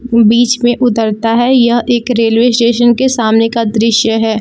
बीच में उतरता है यह एक रेलवे स्टेशन के सामने का दृश्य है।